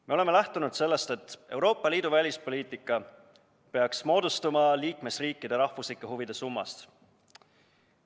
Me oleme lähtunud sellest, et Euroopa Liidu välispoliitika peaks moodustuma liikmesriikide rahvuslike huvide summast.